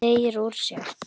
Teygir úr sér.